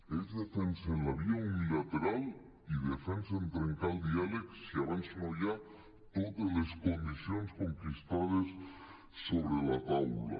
ells defensen la via unilateral i defensen trencar el diàleg si abans no hi ha totes les condicions conquistades sobre la taula